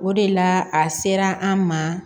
O de la a sera an ma